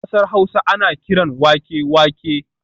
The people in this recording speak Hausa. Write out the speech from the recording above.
A kasar Hausa ana kiran wake wake